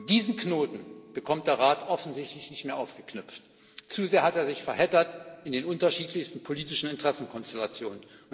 Diesen Knoten bekommt der Rat offensichtlich nicht mehr aufgeknüpft, zu sehr hat er sich verheddert in den unterschiedlichsten politischen Interessenkonstellationen.